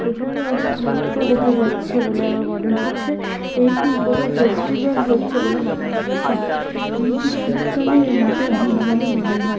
এখানে অনেক লোক কেও দেখা যাচ্ছে বলে আমার মনে হচ্ছে এটি কোন ফেস্টিভেল হচ্ছে বলে মনে হচ্ছে এটি শীতকালে রাতের দিন বলে মনে হয়।